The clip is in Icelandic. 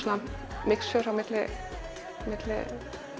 mixture á milli milli